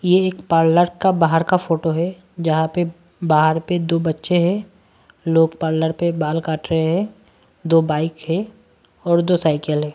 ये एक पार्लर का बाहर का फोटो है जहां पेबाहर पे दो बच्चे हैं लोग पार्लर पे बाल काट रहे हैं दो बाइक है और दो साइकिल है।